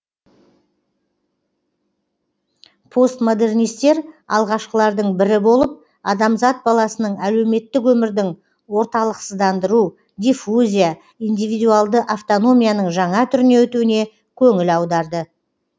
постмодернистер алғашқылардың бірі болып адамзат баласының әлеуметтік өмірдің орталықсыздандыру диффузия индивидуалды автономияның жаңа түріне өтуіне көңіл аударды